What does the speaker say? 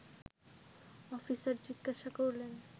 officer জিজ্ঞাসা করলেন